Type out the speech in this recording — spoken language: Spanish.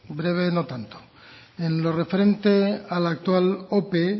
breve no tanto en lo referente a la actual ope